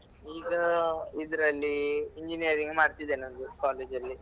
ಈಗ ಇದ್ರಲ್ಲಿ engineering ಮಾಡ್ತಿದ್ದೇನೆ ಒಂದು college ಅಲ್ಲಿ.